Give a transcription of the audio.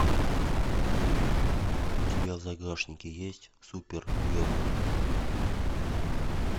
у тебя в загашнике есть супергерл